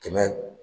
Kɛmɛ